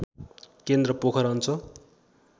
केन्द्र पोखरा अञ्चल